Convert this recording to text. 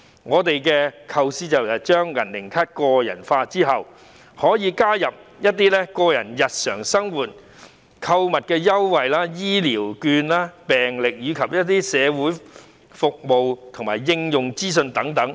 我們的構思是透過"銀齡卡"，加入長者個人日常生活購物優惠、醫療券、病歷，以及社會服務及應用資訊等。